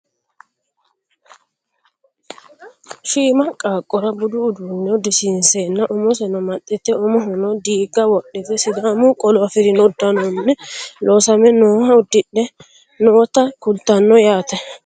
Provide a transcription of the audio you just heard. Shhima qaaqqora budu uduunne uddisiinseenna umoseno amaxxite umohono diigga wodhite sidaamu qolo afirino uddanonni loosame nooha uddidhe noota kultanno yaate